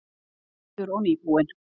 Aftur og nýbúinn.